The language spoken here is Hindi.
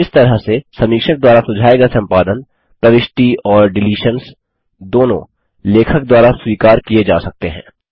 इस तरह से समीक्षक द्वारा सुझाये गये संपादन प्रविष्टि और डिलीशन्स दोनों लेखक द्वारा स्वीकार किये जा सकते हैं